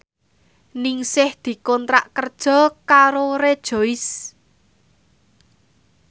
Ningsih dikontrak kerja karo Rejoice